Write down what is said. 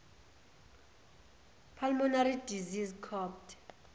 pulmonary disease copd